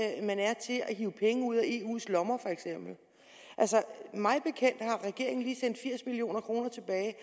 hive penge ud af eu’s lommer altså mig bekendt har regeringen lige sendt firs million kroner tilbage